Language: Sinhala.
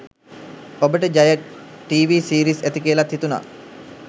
ඔබට ජය ටීවී සීරීස් ඇති කියලත් හිතුන